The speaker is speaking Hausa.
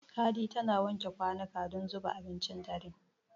Hadi tana wanke kwanuka don zuba abincin dare.